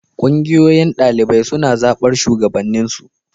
Ƙungiyoyin ɗalibai suna zaɓar shugabanninsu.